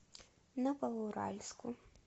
новоуральску